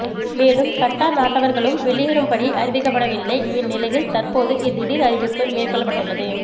மேலும் கட்டார் நாட்டவர்களும் வெளியேறும்படி அறிவிக்கப்படவில்லைஇந்நிலையில் தற்போது இத்திடீர் அறிவிப்பு மேற்கொள்ளப்பட்டுள்ளது